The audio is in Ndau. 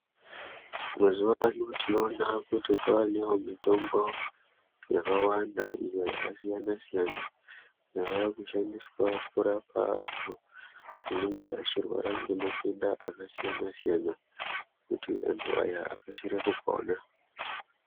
Mazuva ano tinoona kuti kwanevo mitombo yakawanda iyo yakasiyana-siyana. Yavakushandiswa kurapa antu anenge achirwara ngematenda akasiyana-siyana, kuti antu aya akasire kupona.